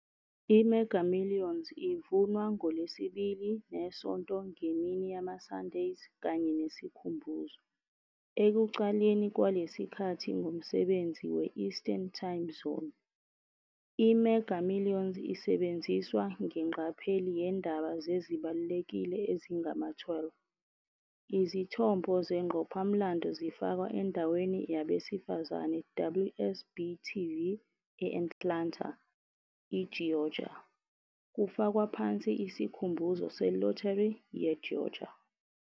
I-Mega Millions ivunwa ngolwesibili ne-Sonto ngemini yamaSunday kanye ne-Sikhumbuzo, ekucaleni kwalesikhathi ngomsebenzi we-Eastern Time Zone. I-Mega Millions isebenziswa ngengqapheli yeendaba zezibalulekile ezingama-12, izithombo zengqophamlando zifakwa endaweni yabesifazane WSB-TV e-Atlanta, i-Georgia, kufakwa phansi isikhumbuzo se-Lottery ye-Georgia.